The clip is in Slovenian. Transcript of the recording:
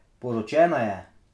Poročena je.